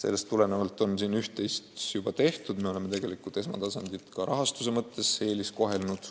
Üht-teist on juba tehtud, me oleme tegelikult esmatasandit ka rahastuse mõttes eelistanud.